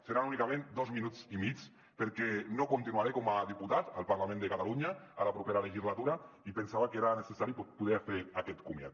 seran únicament dos minuts i mig perquè no continuaré com a diputat al parlament de catalunya en la propera legislatura i pensava que era necessari poder fer aquest comiat